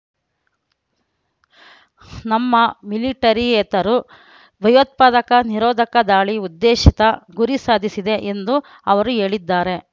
ನಮ್ಮ ಮಿಲಿಟರಿಯೇತರು ಭಯೋತ್ಪಾದಕ ನಿರೋಧಕ ದಾಳಿ ಉದ್ದೇಶಿತ ಗುರಿ ಸಾಧಿಸಿದೆ ಎಂದೂ ಅವರು ಹೇಳಿದ್ದಾರೆ